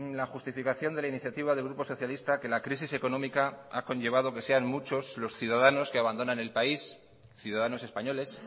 la justificación de la iniciativa del grupo socialista que la crisis económica ha conllevado que sean muchos los ciudadanos que abandonan el país ciudadanos españoles